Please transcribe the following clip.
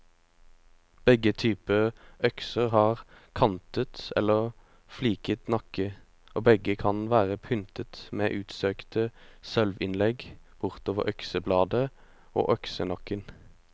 Begge typer økser har kantet eller fliket nakke, og begge kan være pyntet med utsøkte sølvinnlegg bortover øksebladet og øksenakken.